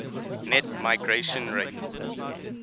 net migration rate